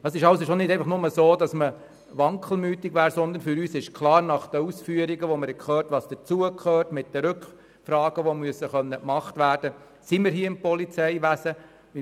Man war somit nicht etwa wankelmütig, sondern für uns war es nach den Ausführungen, die wir gehört haben, klar, dass wir hier einen Bereich betreten, der das Polizeiwesen betrifft.